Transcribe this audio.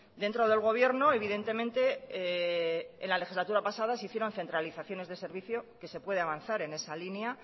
dentro del gobierno evidentemente en la legislatura pasada se hicieron centralizaciones de servicio que se puede avanzar en esa línea